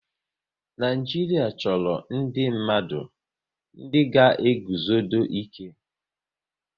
Naijiria chọrọ ndị mmadụ ndị ga eguzodo ike